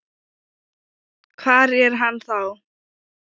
Hvar er hann þá?